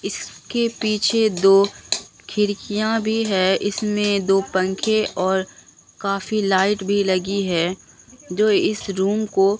इसके पीछे दो खिड़कियां भी हैं इसमें दो पंखे और काफी लाइट भी लगी है जो इस रूम को--